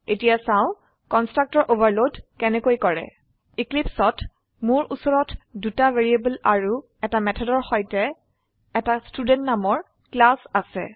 এতিয়া চাও constructor overload কেনেকৈ কৰে eclipseত মোৰ উচৰত দুটা ভ্যাৰিয়েবল অৰু এটা মেথডৰ সৈতে এটা ক্লাস ষ্টুডেণ্ট আছে